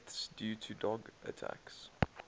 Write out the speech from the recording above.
deaths due to dog attacks